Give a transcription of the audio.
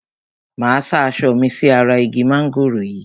Máa sá aṣọ mi sí ara igi mángòrò yìí.